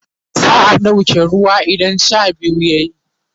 za'a ɗauke ruwa idan Sha biyu yayi